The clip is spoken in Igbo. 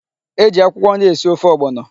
E ji akwụkwọ nri esi ofe ọgbọnọ.